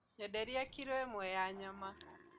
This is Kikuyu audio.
Nyenderia kirũ ĩmwe ya nyama